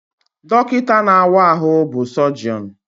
Dọkịta na-awa ahụ bụ Sọjọnụ